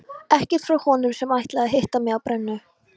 Ekkert frá honum sem ætlaði að hitta mig á brennu.